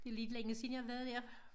Det lidt længe siden jeg har været dér